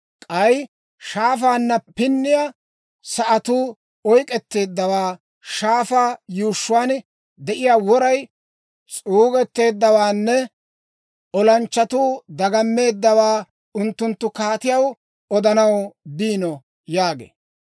K'ay shaafaanna pinniyaa sa'atuu oyk'k'etteeddawaa, shaafaa yuushshuwaan de'iyaa woray s'uugetteeddawaanne olanchchatuu dagammeeddawaa unttunttu kaatiyaw odanaw biino» yaagee.